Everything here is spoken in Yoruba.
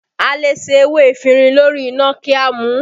A lè se ewé efinrin lórí iná kí a mu u